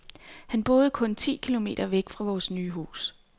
Han boede kun ti km væk fra vores nye hus.